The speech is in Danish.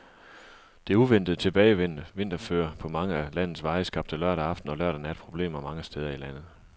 Det uventet tilbagevendte vinterføre på mange af landets veje skabte lørdag aften og lørdag nat problemer mange steder i landet.